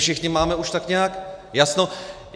Všichni už máme tak nějak jasno.